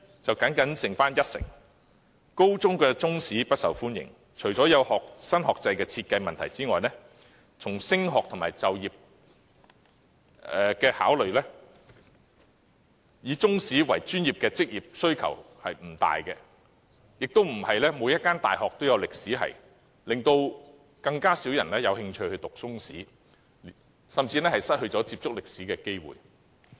中史科不受高中學生歡迎，除了有新學制問題外，從升學和就業角度考慮，以中史作為專業的職業需求不大，亦不是每間大學都有歷史系，所以，更少學生有興趣修讀中史，他們甚至失去接觸歷史的機會。